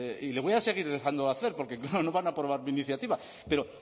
y le voy a seguir dejando hacer porque claro no van a aprobar mi iniciativa